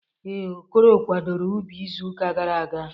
Ee, Okoro kwadoro ubi izuụka gara aga.